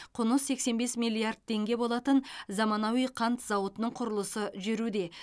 құны сексен бес миллиард теңге болатын заманауи қант зауытының құрылысы жүруде